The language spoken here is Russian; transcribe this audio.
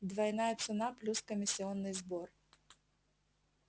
двойная цена плюс комиссионный сбор